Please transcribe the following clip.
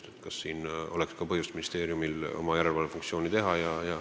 Tahetakse teada, kas siin oleks ka ministeeriumil põhjust oma järelevalvefunktsiooni täita.